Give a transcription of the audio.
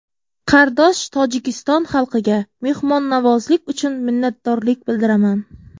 Qardosh Tojikiston xalqiga mehmonnavozlik uchun minnatdorlik bildiraman.